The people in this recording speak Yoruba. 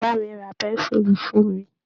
Bàbá mi ra pẹ́ńsúùlù fún mi